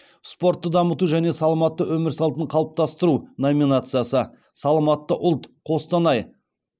спортты дамыту және саламатты өмір салтын қалыптастыру номинациясы саламатты ұлт қостанай